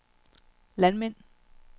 landmænd